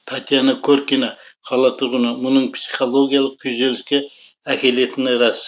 татьяна коркина қала тұрғыны мұның психологиялық күйзеліске әкелетіні рас